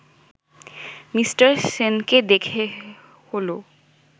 mister সেনকে দেখে হলো